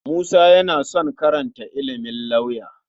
Musa yana son karanta ilimin lauya.